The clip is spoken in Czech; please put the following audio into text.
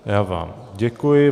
Já vám děkuji.